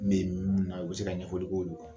Ne ye mun na u bɛ se ka ɲɛfɔli k'o don